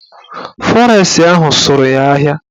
Fọres ahụ sụrụ ya ahịa